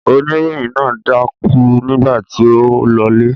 Oníròyìn náà dákú nígbà tí ó ń lọlé.